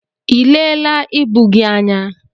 Elee la ịbụ gị anya?